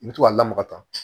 I bɛ to ka lamaga ta